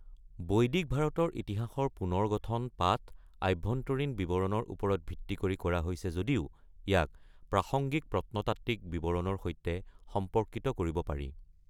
বৈদিক ভাৰতৰ ইতিহাসৰ পুনৰ্গঠন পাঠ-আভ্যন্তৰীণ বিৱৰণৰ ওপৰত ভিত্তি কৰি কৰা হৈছে যদিও ইয়াক প্ৰাসংগিক প্ৰত্নতাত্ত্বিক বিৱৰণৰ সৈতে সম্পৰ্কিত কৰিব পাৰি।